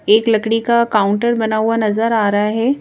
एक लकड़ी का काउंटर बना हुआ नजर आ रहा है।